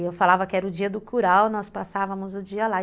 E eu falava que era o dia do curau, nós passávamos o dia lá.